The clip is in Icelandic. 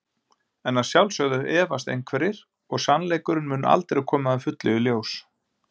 En að sjálfsögðu efast einhverjir og sannleikurinn mun aldrei koma að fullu í ljós.